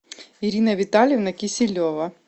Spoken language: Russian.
ирина витальевна киселева